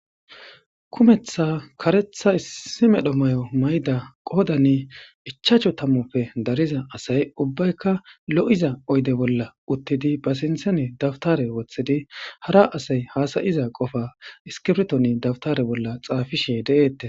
Kumetha karetha issi medhon mayo mayida Qodani ichachu tamupe Dariza asay Ubayka Lo'izaoyde Bolla Utidi Ba sinthani Dawtare Wothidi Hara asay hasayi Hasayiza qofa iskirton Dawtara Bolla x De'etes adishe